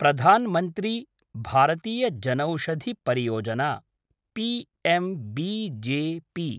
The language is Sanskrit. प्रधान् मन्त्री भारतीय जनौषधि परियोजना’ पीएमबीजेपी